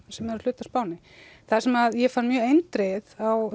sem eru hluti af Spáni það sem ég fann mjög eindregið á